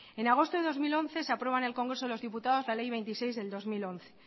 en agosto de dos mil once se aprueba en congreso de los diputados la ley veintiséis barra dos mil once